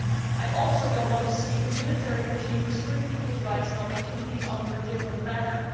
I also do not want to see a military regime restrict people's rights and opportunities under a different banner.